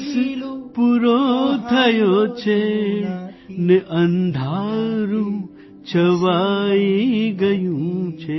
દિવસ પૂરો થયો છે અને અંધારૂં છવાઇ ગયું છે